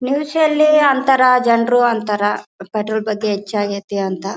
ನಿಲ್ಸಿ ಅಲ್ಲಿ ಅಂತರ ಜನರು ಅಂತರ ಪೆಟ್ರೋಲ್ ಬಗ್ಗೆ ಹೆಚ್ಚಗೈತೆ ಅಂತ.